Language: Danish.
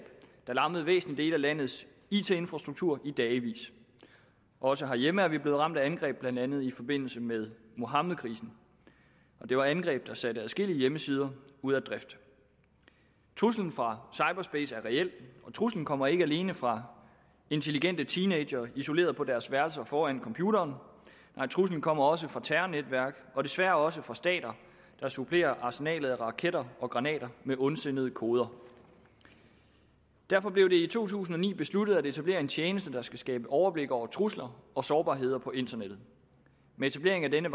der lammede væsentlige dele af landets it infrastruktur i dagevis også herhjemme er vi blevet ramt af angreb blandt andet i forbindelse med muhammedkrisen det var angreb der satte adskillige hjemmesider ud af drift truslen fra cyberspace er reel truslen kommer ikke alene fra intelligente teenagere isoleret på deres værelser foran computeren nej truslen kommer også fra terrornetværk og desværre også fra stater der supplerer arsenalet af raketter og granater med ondsindede koder derfor blev det i to tusind og ni besluttet at etablere en tjeneste der skal skabe overblik over trusler og sårbarheder på internettet med etablering af denne